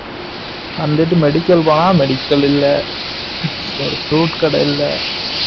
வந்துட்டு medical வா medical இல்ல ஒரு fruit கடை இல்ல